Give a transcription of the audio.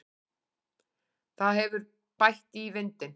Það hefur bætt í vindinn.